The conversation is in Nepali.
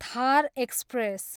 थार एक्सप्रेस